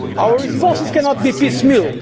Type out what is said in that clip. cannot be partial. Our responses cannot